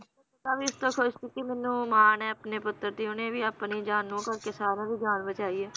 ਤਾਵੀ ਉਸਤੋਹ ਖੁਸ਼ ਸੀਗੀ ਕਿ ਮੈਨੂੰ ਮਾਨ ਏ ਆਪਣੇ ਪੁੱਤਰ ਤੇ ਉਹਨੇਂ ਵੀ ਆਪਣੀ ਜਾਨ ਨੂੰ ਭੁੱਲ ਕੇ ਸਾਰਿਆਂ ਦੀ ਜਾਨ ਬਚਾਈ ਏ